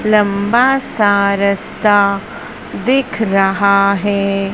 लंबा सा रास्ता दिख रहा है।